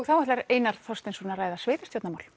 þá ætlar Einar Þorsteinsson að ræða